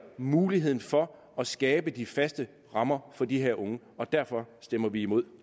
muligheden for at skabe de faste rammer for de her unge derfor stemmer vi imod